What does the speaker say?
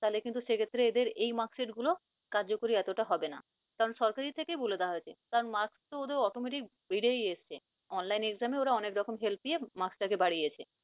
তাহলে কিন্তু সেক্ষেত্রে এদের এই marksheet গুলো কার্যকরী হবে না। কারন সরকারের থেকে বলে দেওয়া হয়েছে কারন marks তো ওদের automatic বেড়ে এসছে online exam এ ওরা অনেক রকম help পেয়ে marks টাকে বাড়িয়েছে।